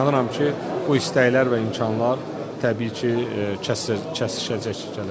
İnanıram ki, bu istəklər və imkanlar təbii ki, kəsişəcək gələcəkdə.